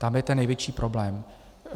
Tam je ten největší problém.